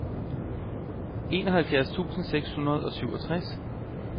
enoghalvfjerds tusind seks hundrede og syvogtres